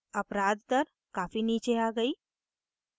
अपराध दर काफी नीचे आ गयी है